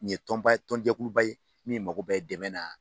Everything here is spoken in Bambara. Nin ye tɔnba ye tɔnjɛkuluba ye min mako bɛ dɛmɛ na,